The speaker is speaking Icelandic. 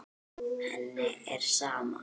Henni er sama.